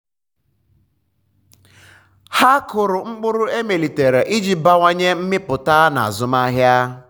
ha kụrụ mkpụrụ emelitere iji bawanye mmipụta na azụmahịa.